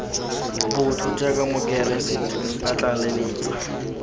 botho jaaka mokeresete nka tlaleletsa